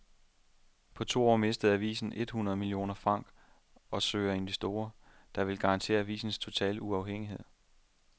På to år mistede avisen et hundrede millioner franc og søger investorer, der vil garantere avisens totale uafhængighed.